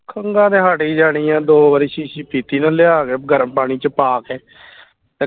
ਖੰਗਾ ਤੇ ਹਟ ਹੀ ਜਾਣੀਆਂ ਦੋ ਵਾਰੀ ਸ਼ੀਸ਼ੀ ਪੀਤੀ ਨਾ ਲਿਆ ਕੇ ਗਰਮ ਪਾਣੀ ਚ ਪਾ ਕੇ